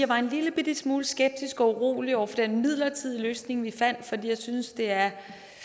var en lillebitte smule skeptisk og urolig over for den midlertidige løsning vi fandt for jeg synes det er